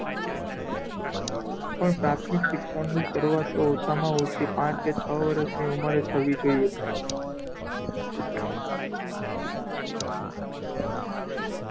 પણ પ્રાથમિક શિક્ષણ ની શરૂઆત તો ઓછામાં ઓછી પાંચ કે છ વર્ષની ઉંમરે થવી જોઇયે.